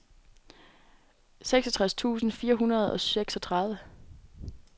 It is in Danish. seksogtres tusind fire hundrede og seksogtredive